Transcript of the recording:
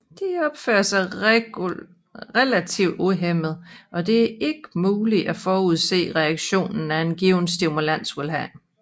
De opfører sig relativt uhæmmet og det er ikke muligt at forudsige reaktionen af en given stimulus vil have